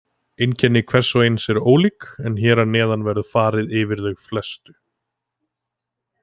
Einkenni hvers og eins eru ólík en hér að neðan verður farið yfir þau helstu.